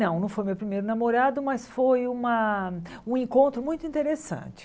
Não, não foi meu primeiro namorado, mas foi uma um encontro muito interessante.